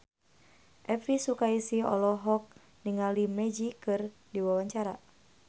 Elvi Sukaesih olohok ningali Magic keur diwawancara